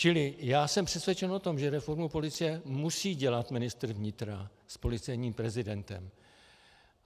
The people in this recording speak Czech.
Čili já jsem přesvědčen o tom, že reformu policie musí dělat ministr vnitra s policejním prezidentem.